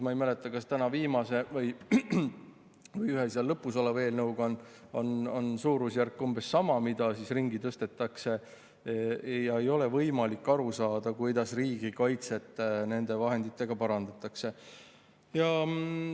Ma ei mäleta, kas täna viimases või siis ühes lõpus olevas eelnõus on umbes sama suurusjärk, kui palju ringi tõstetakse, ja ei ole võimalik aru saada, kuidas nende vahenditega riigikaitset parandatakse.